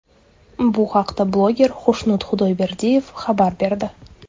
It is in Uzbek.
Bu haqda bloger Xushnud Xudoyberdiyev xabar berdi .